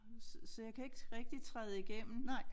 Så så jeg kan ikke rigtig træde igennem